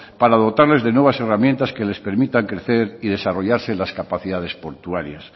para dotarles de nuevas herramientas que les permitan crecer y desarrollarse las capacidades portuarias